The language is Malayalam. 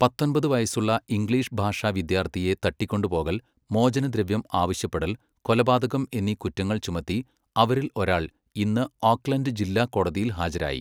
പത്തൊമ്പത് വയസ്സുള്ള ഇംഗ്ലീഷ് ഭാഷാ വിദ്യാർത്ഥിയെ തട്ടിക്കൊണ്ടുപോകൽ, മോചനദ്രവ്യം ആവശ്യപ്പെൽ, കൊലപാതകം എന്നീ കുറ്റങ്ങൾ ചുമത്തി അവരിൽ ഒരാൾ ഇന്ന് ഓക്ക്ലൻഡ് ജില്ലാ കോടതിയിൽ ഹാജരായി.